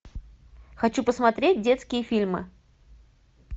хочу посмотреть детские фильмы